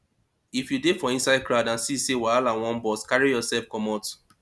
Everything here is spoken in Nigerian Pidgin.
if you dey for inside crowd and see sey wahala wan burst carry yourself comot